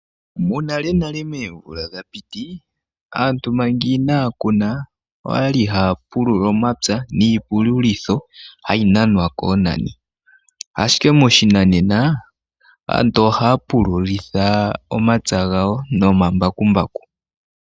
Monalenale moomvula dha piti, aantu manga inaya kuna, oyali haya pulula omapya niipululitho hayi nanwa koonani, ashike moshinanena, aantu ohaya pululitha omapya gawo nomambakumbaku.